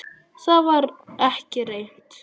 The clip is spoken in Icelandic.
Það var ekki reynt.